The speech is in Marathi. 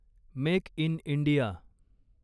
make in India